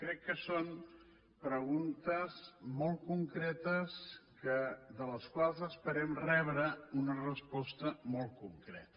crec que són preguntes molt concretes de les quals esperem rebre una resposta molt concreta